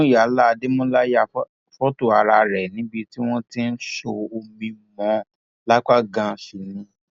muyala adémọlá ya fọtò ara rẹ níbi tí wọn ti sọ omi mọ ọn lápá ganan sí ni